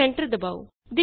ਹੁਣ ਐਂਟਰ ਦਬਾਓ